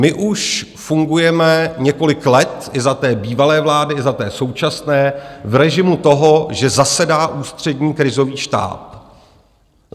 My už fungujeme několik let, i za té bývalé vlády, i za té současné, v režimu toho, že zasedá Ústřední krizový štáb.